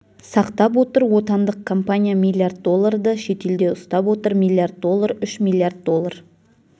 сақтап отыр отандық компания миллиард долларды шетелде ұстап отыр миллиард доллар үш миллиард доллар